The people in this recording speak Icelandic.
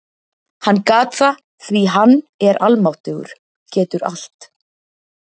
Hann gat það því hann er almáttugur- getur allt.